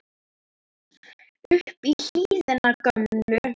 upp í hlíðina gömlu